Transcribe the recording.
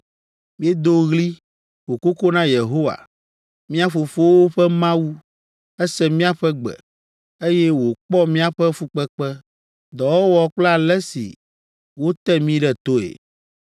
Míedo ɣli, ƒo koko na Yehowa, mía fofowo ƒe Mawu. Ese míaƒe gbe, eye wòkpɔ míaƒe fukpekpe, dɔwɔwɔ kple ale si wote mí ɖe toe.